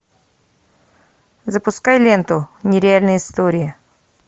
запускай ленту нереальные истории